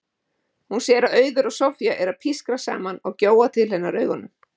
Hún sér að Auður og Soffía eru að pískra saman og gjóa til hennar augunum.